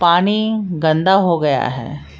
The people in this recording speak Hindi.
पानी गंदा हो गया है।